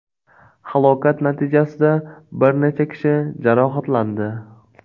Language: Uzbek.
Halokat natijasida bir necha kishi jarohatlandi.